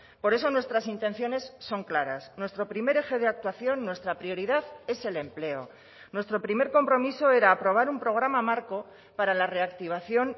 por eso nuestras intenciones son claras nuestro primer eje de actuación nuestra prioridad es el empleo nuestro primer compromiso era aprobar un programa marco para la reactivación